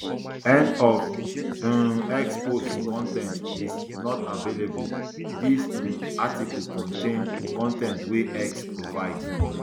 end of um x post two con ten t is not available dis um article contain con ten t wey x provide